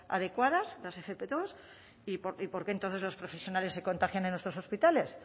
adecuadas las efe pe dos y por qué entonces los profesionales se contagian en nuestros hospitales